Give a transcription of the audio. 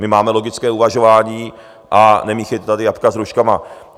My máme logické uvažování a nemíchejte tady jabka s hruškama.